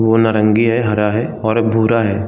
वो नारंगी है हरा है और भूरा है।